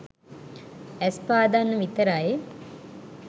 ඇස් පාදන්න විතරයි.